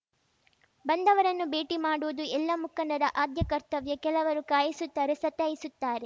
ಬಂದವರನ್ನು ಭೇಟಿ ಮಾಡುವುದು ಎಲ್ಲ ಮುಖಂಡರ ಆದ್ಯ ಕರ್ತವ್ಯ ಕೆಲವರು ಕಾಯಿಸುತ್ತಾರೆ ಸತಾಯಿಸುತ್ತಾರೆ